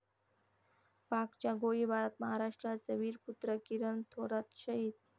पाकच्या गोळीबारात महाराष्ट्राचा वीरपुत्र किरण थोरात शहीद